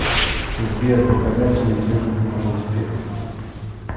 сбер показать телевизионный канал успех